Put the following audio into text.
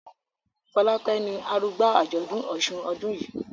Folake ní arugba ajọdun òsùn ọdún yí.